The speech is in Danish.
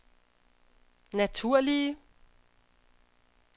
naturlige